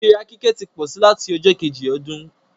ìfíra kíkẹ́ tí pósí lati ọjọ́ Kejì ọdún